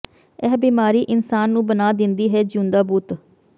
ਇਹ ਬਿਮਾਰੀ ਇਨਸਾਨ ਨੂੰ ਬਣਾ ਦਿੰਦੀ ਹੈ ਜਿਊਂਦਾ ਬੁੱਤ